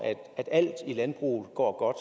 alt i landbruget går